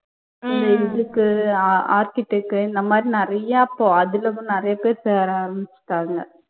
ஒன்னு இருக்கு அஹ் architect உ இந்த மாதிரி நிறைய அதுல தான் நிறைய பேரு சேர ஆரம்பிச்சிட்டாங்க